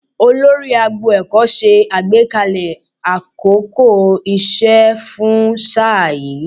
Olórí agbo ẹ̀kọ́ ṣe àgbékalẹ̀ àkókò iṣẹ́ fún sáà yìí